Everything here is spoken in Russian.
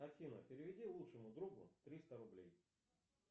афина переведи лучшему другу триста рублей